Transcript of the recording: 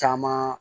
Caman